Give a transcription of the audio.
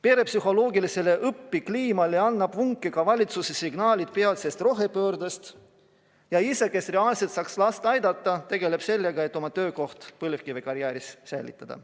Pere psühholoogilisele sisekliimale annavad vunki ka valitsuse signaalid peatsest rohepöördest ja isa, kes reaalselt saaks last õppimisel aidata, tegeleb sellega, et oma töökoht põlevkivikarjääris säilitada.